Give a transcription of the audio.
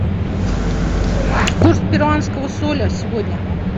курс перуанского соля сегодня